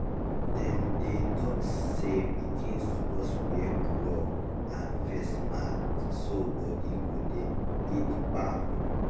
dem dey talk say small pikin suppose wear glove and face mask so body go dey gidigba.